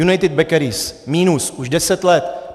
United Bakeries, minus už deset let.